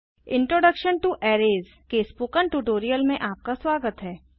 introduction to arrays के spoken tutorial में आपका स्वागत है